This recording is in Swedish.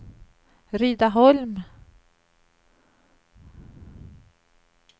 Rydaholm